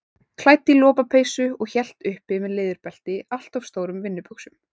Klædd í lopapeysu og hélt uppi með leðurbelti allt of stórum vinnubuxum.